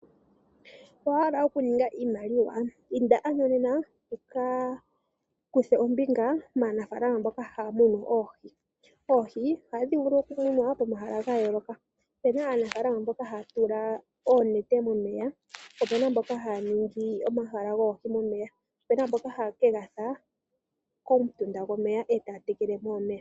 Owahala okuninga iimaliwa? Inda ano nena wukakuthe ombinga maanafalama mboka haya munu oohi. Oohi ohadhi vulu okumunwa pomahala gayooloka. Opena aanafaalama mboka haya tula oonete momeya po opena mboka haya ningi omahala goohi momeya. Opena mboka haye kedhi fulila komutunda gomeya etaya tekeleko omeya.